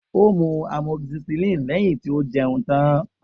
O mu amoxicillin lẹhin ti o jẹun tan.